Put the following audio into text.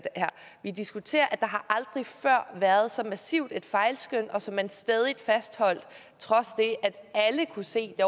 her vi diskuterer at der aldrig før har været så massivt et fejlskøn som man stædigt fastholdt trods det at alle kunne se at